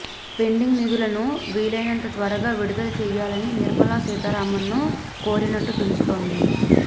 pending నిధులను వీలైనంత త్వరగా విడుదల చెయ్యాలని నిర్మలా సీతారామన్ ను కోరినట్టు తెలుస్తోంది